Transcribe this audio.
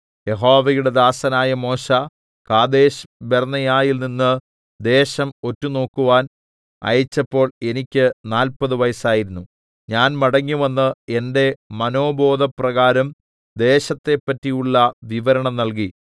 യഹോവയുടെ ദാസനായ മോശെ കാദേശ്ബർന്നേയയിൽനിന്ന് ദേശം ഒറ്റുനോക്കുവാൻ അയച്ചപ്പോൾ എനിക്ക് നാല്പതു വയസ്സായിരുന്നു ഞാൻ മടങ്ങിവന്ന് എന്റെ മനോബോധപ്രകാരം ദേശത്തെപ്പറ്റിയുള്ള വിവരണം നൽകി